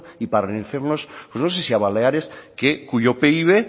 y parecernos no sé si a baleares que cuyo pib